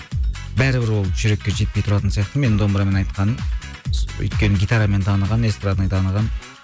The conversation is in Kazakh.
бәрі бір ол жүрекке жетпей тұратын сияқты менің домбырамен айтқаным өйткені гитарамен таныған эстрадный таныған